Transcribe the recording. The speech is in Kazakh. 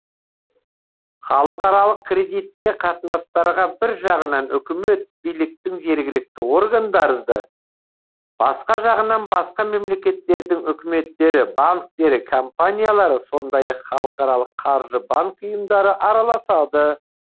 халықаралық кредитте қатынастарға бір жағынан үкімет биліктің жергілікті органдары да басқа жағынан басқа мемлекеттердің үкіметтері банктері компаниялары сондай ақ халықаралық қаржы банк ұйымдары араласады